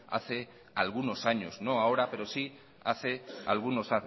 hace algunos años no ahora pero sí hace algunos